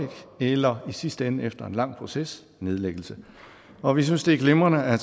eller i sidste ende efter en lang proces nedlæggelse og vi synes det er glimrende at